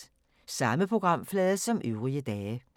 Samme programflade som øvrige dage